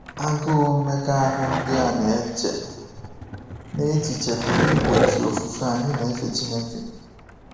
Agụụ mmekọahụ ndị a na-eche n’echiche pụrụ igbochi ofufe anyị na-efe Chineke.